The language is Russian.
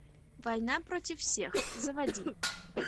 война против всех заводи